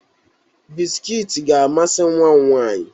Biskiit ga-amasị nwa m nwaanyị.